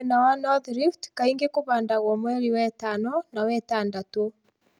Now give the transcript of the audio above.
Mwena wa North rift kaingĩ kũhandagwo mweri wetano na wetandatũ